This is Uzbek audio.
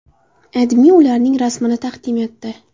AdMe ularning rasmini taqdim etdi.